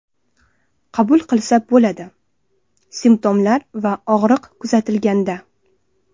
Qabul qilsa bo‘ladi: Simptomlar va og‘riq kuzatilganda.